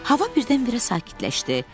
Hava birdən-birə sakitləşdi.